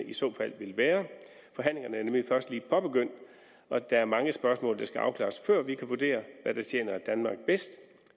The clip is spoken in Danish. i så fald vil være forhandlingerne er nemlig først lige påbegyndt og der er mange spørgsmål der skal afklares før vi kan vurdere hvad der tjener danmark bedst